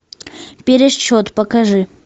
пересчет покажи